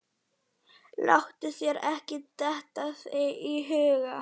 Láttu þér ekki detta það í hug.